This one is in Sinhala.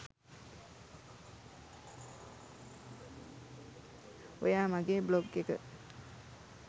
ඔයා මගෙ බ්ලොග් එක